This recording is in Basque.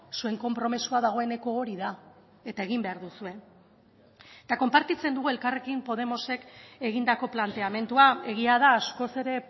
zuen konpromisoa dagoeneko hori da eta egin behar duzue eta konpartitzen dugu elkarrekin podemosek egindako planteamendua egia da askoz ere